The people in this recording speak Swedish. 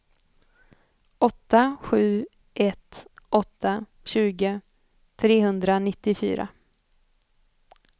åtta sju ett åtta tjugo trehundranittiofyra